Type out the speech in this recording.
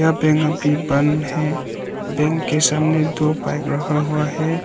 यह बैंक अभी बंद है बैंक के सामने दो बाइक रखा हुआ है।